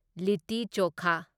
ꯂꯤꯠꯇꯤ ꯆꯣꯈꯥ